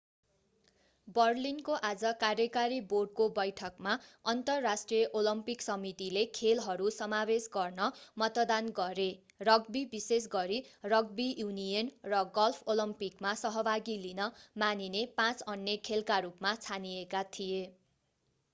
बर्लिनको आज कार्यकारी बोर्डको बैठकमा अन्तर्राष्ट्रिय ओलम्पिक समितिले खेलहरू समावेश गर्न मतदान गरे रग्बी विशेष गरी रग्बी युनियन र गल्फ ओलम्पिकमा सहभागी लिन मानिने पाँच अन्य खेलका रूपमा छानिएका थिए